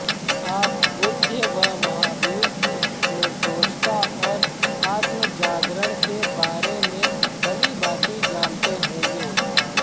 आप बुद्ध व महावीर की निर्दोषता और आत्मजागरण के बारे में भली भांति जानते होंगे